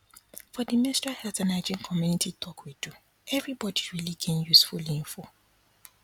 for the menstrual health and hygiene community talk we do everybody really gain useful info